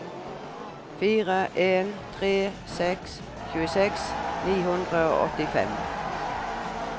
fire en tre seks tjueseks ni hundre og åttifem